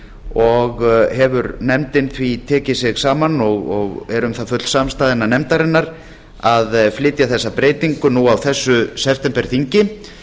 og hefur nefndin því tekið sig saman og er um það full samstaða innan nefndarinnar að flytja þessa breytingu nú á þessu septemberþingi